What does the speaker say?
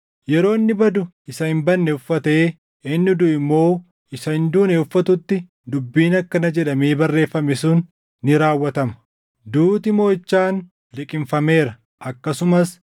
Yeroo inni badu isa hin badne uffatee, inni duʼu immoo isa hin duune uffatutti dubbiin akkana jedhamee barreeffame sun ni raawwatama; “Duuti moʼichaan liqimfameera.” + 15:54 \+xt Far 25:8\+xt* Akkasumas,